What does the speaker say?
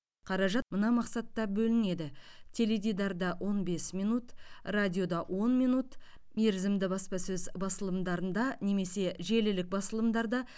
қаражат мына мақсатта бөлінеді теледидарда он бес минут радиода он минут мерзімді баспасөз басылымдарында немесе желілік басылымдарда